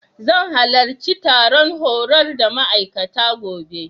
Zan halarci taron horar da ma'aikata, gobe.